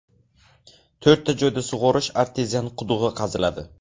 To‘rtta joyda sug‘orish artezian qudug‘i qaziladi.